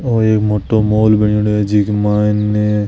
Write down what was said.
ओ एक मोटो मॉल बनेड़ो है जीके माइन --